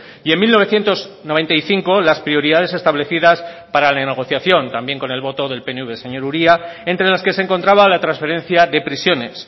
y en mil novecientos noventa y cinco las prioridades establecidas para la negociación también con el voto del pnv señor uría entre las que se encontraba la transferencia de prisiones